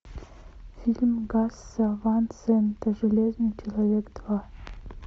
фильм гаса ван сента железный человек два